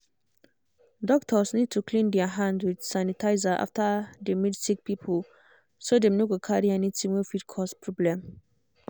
doctors need to clean der hand with sanitizer after dey meet sick people so dem no go carry anything wey fit cause problem.